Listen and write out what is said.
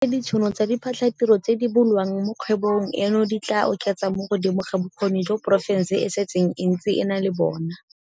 O rile ditšhono tsa diphatlhatiro tse di bulwang mo kgwebong eno di tla oketsa mo godimo ga bokgoni jo porofense e setseng e ntse e na le bona.